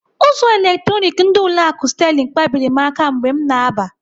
Ụzọ eletronik ndị ụlọ akụ Sterling kpabiri m aka mgbe m na-aba.